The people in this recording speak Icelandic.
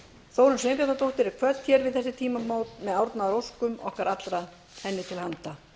þórunn sveinbjarnardóttur er kvödd hér við þessi tímamót með árnaðaróskum okkar allra henni til handa